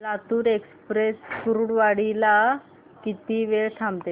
Latur express Kurduwadi ला किती वेळ थांबते